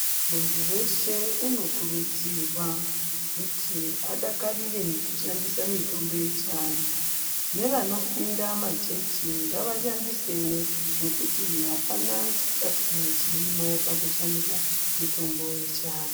Muntu weshe unokurudzirwa kuti adakarire kushandisa mutombo yechiantu nevanopinda machechi ngavashandisewo ngekuti apana chisatani chirimo pakushandisa mutombo yechiantu.